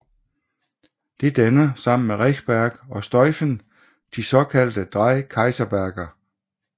Det danner sammen med Rechberg og Stuifen de såkaldte Drei Kaiserberge